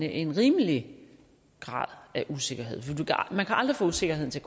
en rimelig grad af usikkerhed for man kan aldrig få usikkerheden til